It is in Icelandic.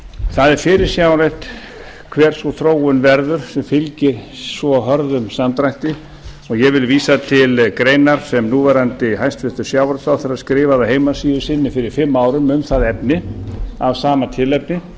það er fyrirsjáanlegt hver sú þróun verður sem fylgir svo hörðum samdrætti og ég vil vísa til greinar sem núverandi hæstvirtan sjávarútvegsráðherra skrifaði á heimasíðu sína fyrir fimm árum um það efni af sama tilefni